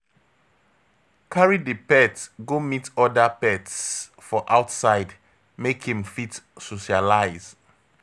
Carry di pet go meet oda pets for outside make im fit socialize